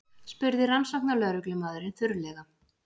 spurði rannsóknarlögreglumaðurinn þurrlega.